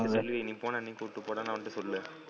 நீ போனா என்னையும் கூட்டிட்டு போடான்னு அவன்ட சொல்லு,